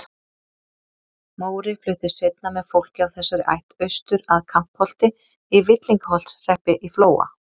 Móri fluttist seinna með fólki af þessari ætt austur að Kampholti í Villingaholtshreppi í Flóa.